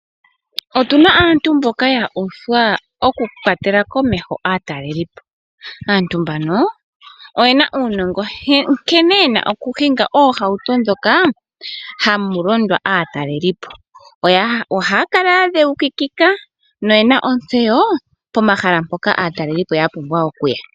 Otuna aantu mbyoka ya uthwa okukwatela komeho aatalelipo. Aantu mbano oyena uunongo nkene yena okuhinga oohauto ndhoka hamu londo aatalelipo. Ohaya kala ya dhewukika noyena ontseyo pomahala mpoka aatalelipo yapumbwa okuya.